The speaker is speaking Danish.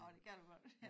Nå det kan du godt ja